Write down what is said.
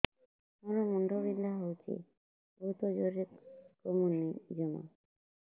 ମୋର ମୁଣ୍ଡ ବିନ୍ଧା ହଉଛି ବହୁତ ଜୋରରେ କମୁନି ଜମା